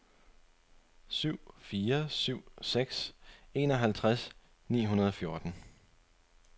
syv fire syv seks enoghalvtreds ni hundrede og fjorten